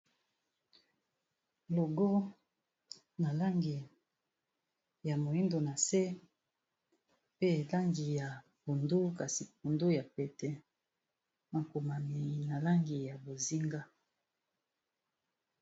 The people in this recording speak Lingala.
Logo na langi ya moyindo na se, pe langi ya pondu kasi pondu ya pete, makomami na langi ya bozinga.